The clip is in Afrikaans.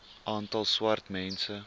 aantal swart mense